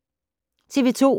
TV 2